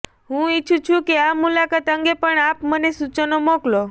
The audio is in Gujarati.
હું ઇચ્છું છું કે આ મુલાકાત અંગે પણ આપ મને સૂચનો મોકલો